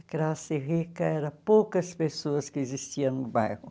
A classe rica era poucas pessoas que existiam no bairro.